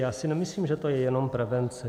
Já si nemyslím, že to je jenom prevence.